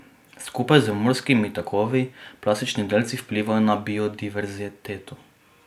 Skupaj z morskimi tokovi plastični delci vplivajo na biodiverziteto.